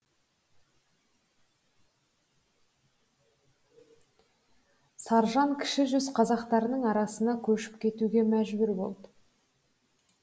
саржан кіші жүз қазақтарының арасына көшіп кетуге мәжбүр болды